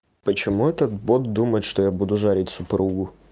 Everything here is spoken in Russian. почему этот бот думает что я буду жарить супругу